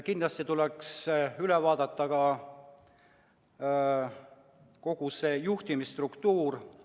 Kindlasti tuleks üle vaadata ka kogu juhtimisstruktuur.